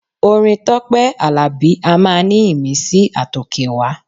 Orin Tọ́pẹ́ Àlàbí a máa ní ìmísí àtòkèwá.